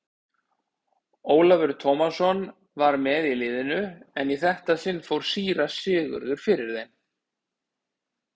Ólafur Tómasson var með í liðinu en í þetta sinn fór síra Sigurður fyrir þeim.